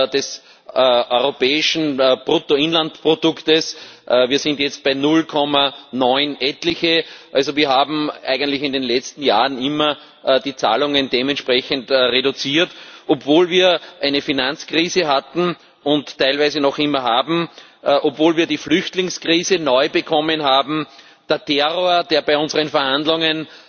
des europäischen Bruttoinlandsprodukts, wir sind jetzt bei 0,9 etliche. Also wir haben eigentlich in den letzten Jahren immer die Zahlungen dementsprechend reduziert, obwohl wir eine Finanzkrise hatten und teilweise noch immer haben, obwohl wir die Flüchtlingskrise neu bekommen haben, der Terror uns bei unseren Verhandlungen